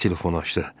Tez telefonu açdı.